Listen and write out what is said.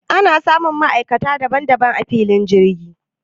Ana samun ma'aikata daban daban a filin jirgi